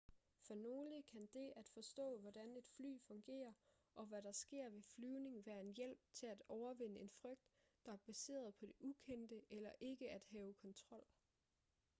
for nogle kan det at forstå hvordan et fly fungerer og hvad der sker ved flyvning være en hjælp til at overvinde en frygt der er baseret på det ukendte eller ikke at have kontrol